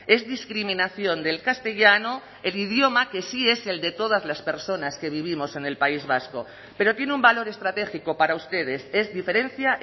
es discriminación del castellano el idioma que sí es el de todas las personas que vivimos en el país vasco pero tiene un valor estratégico para ustedes es diferencia